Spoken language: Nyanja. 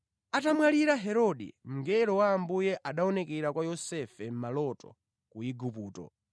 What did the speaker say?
Atamwalira Herode, mngelo wa Ambuye anaonekera kwa Yosefe mʼmaloto ku Igupto